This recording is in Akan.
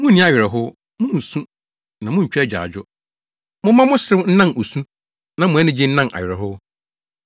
Munni awerɛhow, munsu, na muntwa agyaadwo; momma mo serew nnan osu, na mo anigye nnan awerɛhow.